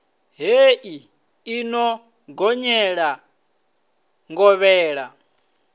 hei i no gonyela ngovhela